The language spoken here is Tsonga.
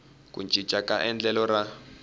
ku cinca ka endlelo ra